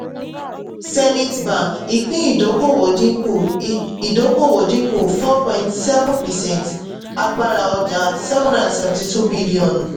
zenith bank ìpín ìdókòwò dínkù um ìdókòwò dínkù four point seven percent agbára ọjà seven hundred and seventy-two billion